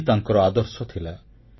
ଏହାହିଁ ତାଙ୍କର ଆଦର୍ଶ ଥିଲା